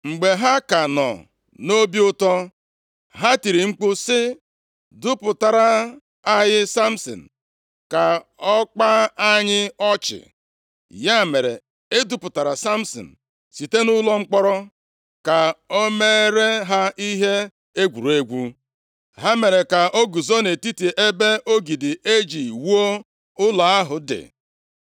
Mgbe ha ka nọ nʼobi ụtọ, ha tiri mkpu sị, “Dupụtara anyị Samsin, ka o kpaa anyị ọchị.” Ya mere, e dupụtara Samsin site nʼụlọ mkpọrọ ka o meere ha ihe egwuregwu. Ha mere ka o guzo nʼetiti ebe ogidi e ji wuo ụlọ ahụ dị.